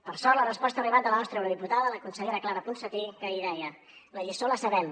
per sort la resposta ha arribat de la nostra eurodiputada la consellera clara ponsatí que ahir deia la lliçó la sabem